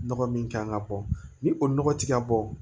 Nɔgɔ min kan ka bɔ ni o nɔgɔ ti ka bɔ